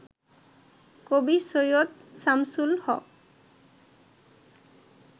কবি সৈয়দ শামসুল হক